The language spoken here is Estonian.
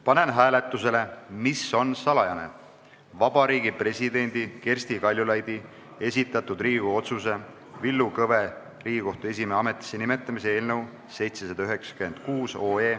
Panen hääletusele, mis on salajane, Vabariigi Presidendi Kersti Kaljulaidi esitatud Riigikogu otsuse "Villu Kõve Riigikohtu esimehe ametisse nimetamise" eelnõu 796.